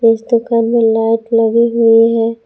इस दुकान में लाइट लगी हुई है।